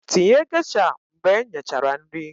Tinye geisha mgbe nyechara nri